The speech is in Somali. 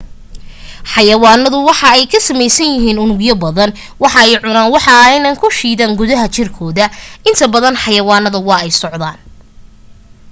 xayawaanadu waxa ay ka sameysan yihiin unugyo badan wax ayee cunaan waxa ayna ku shiidan gudaha jirkooda inta badan xayawanada waa ay socdaan